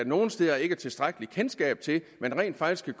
nogle steder ikke er tilstrækkeligt kendskab til at man rent faktisk med